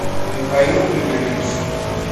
михаил игоревич